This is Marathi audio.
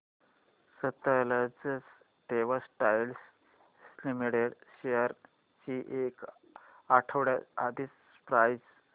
सतलज टेक्सटाइल्स लिमिटेड शेअर्स ची एक आठवड्या आधीची प्राइस